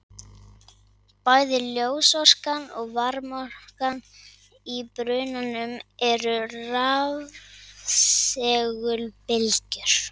Bæði ljósorkan og varmaorkan í brunanum eru rafsegulbylgjur.